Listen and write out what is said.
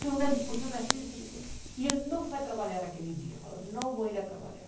Foi uma discussão assim, e ele não foi trabalhar naquele dia, falou, não vou ir trabalhar.